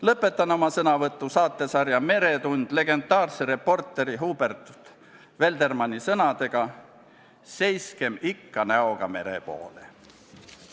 Lõpetan oma sõnavõtu saatesarja "Meretund" legendaarse reporteri Hubert Veldermanni sõnadega: "Seiskem ikka näoga mere poole!